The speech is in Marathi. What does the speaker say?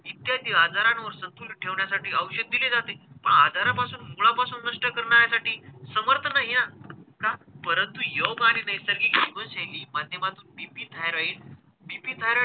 इत्यादी आजारांवर संतुलन ठेवण्यासाठी औषध दिले जाते. मग आजारापासून मुळापासून नष्ट करण्यासाठी समर्थ नाही आहे ना. का? परंतु योग आणि नैसर्गिक जीवनशैली माध्यमातून B. P. Thyroid, B. P. Thyroid,